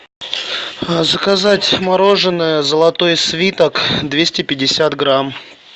заказать мороженое золотой слиток двести пятьдесят грамм